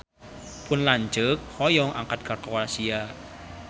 Pun lanceuk hoyong angkat ka Kroasia